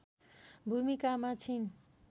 भूमिकामा छिन्